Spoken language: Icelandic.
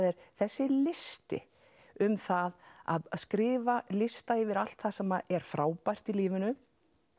er þessi listi um það að skrifa lista yfir allt það sem er frábært í lífinu